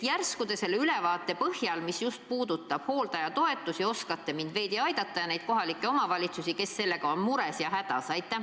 Järsku te saate selle hooldajatoetusi puudutava ülevaate põhjal meile veidi valgustada, kuidas aidata neid kohalikke omavalitsusi, kes on mures ja hädas?